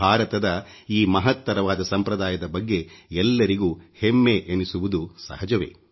ಭಾರತದ ಈ ಮಹತ್ತರವಾದ ಸಂಪ್ರದಾಯದ ಬಗ್ಗೆ ಎಲ್ಲರಿಗೂ ಹೆಮ್ಮೆ ಎನಿಸುವುದು ಸಹಜವೇ